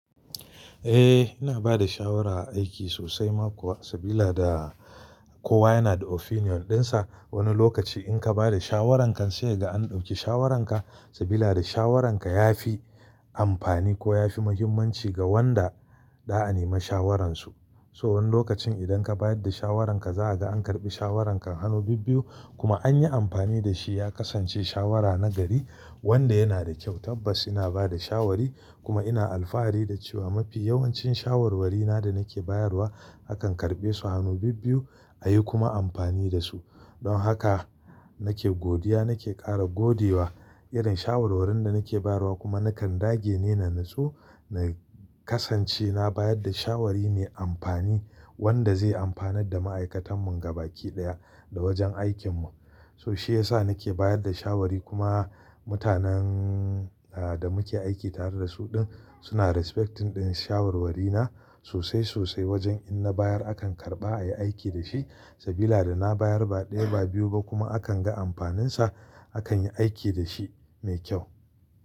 Eh, ina bada shawara a aiki sosai ma kuwa sabida kowa yana da opinion ɗinsa. Wani lokaci in ka bada shawaranka sai ka ga an ɗauki shawaranka sabida shawaranka ya fi amfani ko ya fi muhimmanci ga wadda za a nema shawaransu. So wani lokacin idan ka bayar da shawaranka za a ga an karɓi shawarankan hannu bibbiyu kuma an yi amfani da shi ya kasance shawara nagari wanda yana da kyau. Tabbas ina bada shawari kuma ina alfahari da cewa mafi yawancin shawarwari na da nake bayarwa akan karɓe su hannu bibbiyu a yi kuma amfani da su. Don haka nake godiya, nake ƙara gode wa irin shawarwarin da nake bayarwa kuma nakan dage ne na natsu na kasance na bayar da shawari mai amfani wadda zai amfanar da ma'aikatan mu gabaɗaya da wajen aikin mu. So shi yasa nake bayar da shawari kuma mutanen da muke aiki tare da su din suna respecting din shawarwari na sosai sosai wajen in na bayar akan karɓa a yi aiki da shi sabida da na bayar ba ɗaya ba biyu ba kuma a kan ga amfaninsa a kan yi aiki da shi mai kyau.